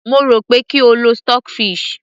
mo rò pé kí o lo stock fish